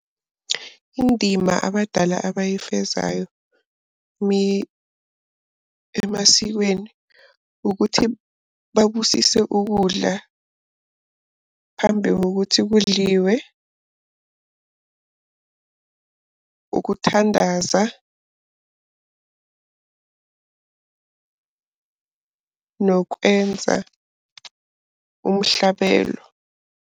Indima abadala abayifezayo emasikweni ukuthi babusise ukudla phambi kokuthi kudliwe, ukuthandaza, nokwenza umhlabelo.